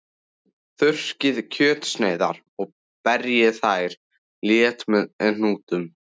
Þurrkið kjötsneiðarnar og berjið þær létt með hnúunum.